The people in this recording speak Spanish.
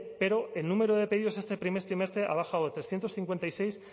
pero el número de pedidos este primer trimestre ha bajado de trescientos cincuenta y seis